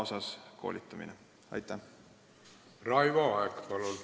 Raivo Aeg, palun!